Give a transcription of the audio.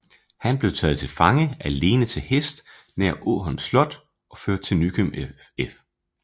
Han blev taget til fange alene til hest nær Ålholm slot og ført til Nykøbing F